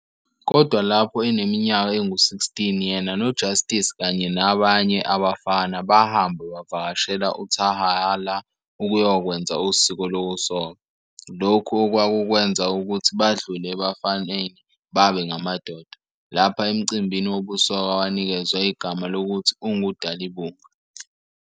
Kodwa lapho eneminyaka engu 16, yena noJustice, kanye nabanye abafana, bahamba bavakashela eTyhalarha ukuyokwenza usiko lokusoka, lokhu okwakukwenza ukuthi badlule ebufaneni babe ngamadoda, lapha emcimbini wobusoka wanikezwa igama lokuthi ungu"Dalibunga".